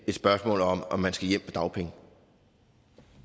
et spørgsmål om at man skal hjem på dagpenge